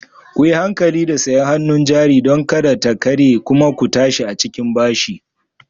Kuyi hankali da sayar hannun jari don kada ta karye kuma ku tashi a cikin bashi